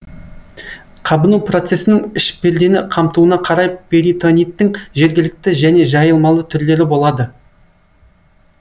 қабыну процесінің іш пердені қамтуына қарай перитониттің жергілікті және жайылмалы түрлері болады